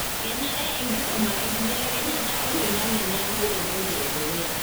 kenare enkisuma enkibelekenyata oloingange niaku entoki edukuya.